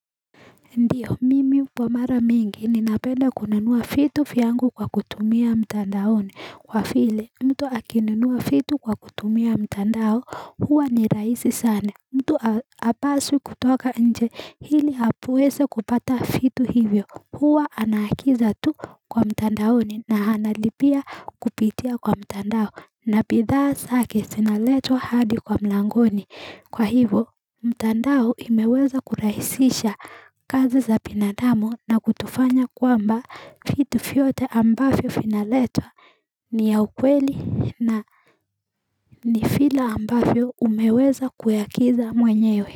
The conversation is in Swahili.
Ndiyo mimi kwa mara mingi ninapenda kunanua fiti yangu kwa kutumia mtandaone kwa file mtu akinanua fitu kwa kutumia mtandao huwa ni raisi sane mtu apasu kutoka nje hili apuweze kupata fitu hivyo huwa anaakiza tu kwa mtandaone na hana lipia kupitia kwa mtandao na pithaa saki sinaletwa hadi kwa mlangoni kwa hivyo mtandao imeweza kuraisisha kazi za binadamo na kutufanya kwamba fitu fiote ambafyo finaletwa ni ya ukweli na ni fila ambafyo umeweza kuyakiza mwenye yo.